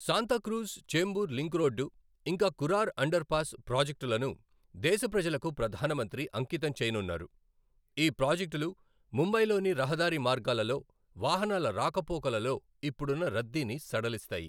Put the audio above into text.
Santacruz Chembur link road, ఇంకా Kurar underpass ప్రాజెక్టులను దేశప్రజలకు ప్రధాన మంత్రి అంకితం చేయనున్నారు. ఈ ప్రాజెక్టులు ముంబయి లోని రహదారి మార్గాలలో వాహనాల రాకపోకలలో ఇప్పుడున్న రద్దీని సడలిస్తాయి